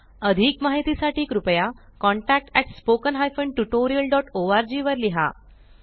अधिक माहिती साठी कृपया contactspoken tutorialorg वर लिहा